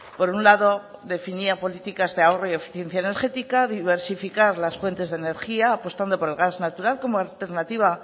por un lado definía políticas de ahorro y eficiencia energética diversificar las fuentes de energía apostando por el gas natural como alternativa